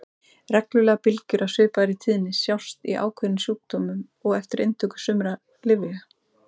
Reglulegar bylgjur af svipaðri tíðni sjást í ákveðnum sjúkdómum og eftir inntöku sumra lyfja.